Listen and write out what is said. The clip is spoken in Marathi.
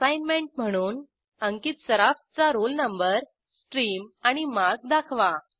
असाईनमेंट म्हणून अंकित सराफ चा रोल नंबर स्ट्रीम आणि मार्क दाखवा